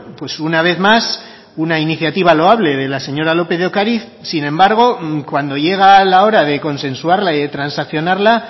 pues una vez más una iniciativa loable de la señora lópez de ocariz sin embargo cuando llega la hora de consensuarla y de transaccionarla